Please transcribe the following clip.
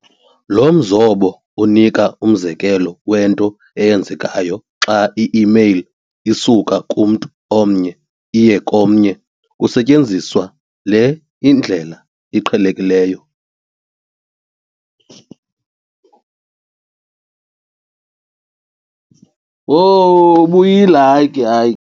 lo mzobo unika umzekelo wento eyenzekayo xa i-email isuka kumntu omnye iye komnye kusetyenziswa le ndlela iqhelekileyo.